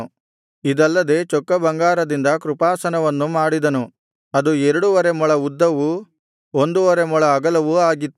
ಇದಲ್ಲದೆ ಚೊಕ್ಕಬಂಗಾರದಿಂದ ಕೃಪಾಸನವನ್ನು ಮಾಡಿದನು ಅದು ಎರಡುವರೆ ಮೊಳ ಉದ್ದವು ಒಂದುವರೆ ಮೊಳ ಅಗಲವೂ ಆಗಿತ್ತು